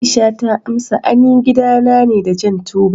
Aisha ta amsa, an yi gidana ne da jan tubali.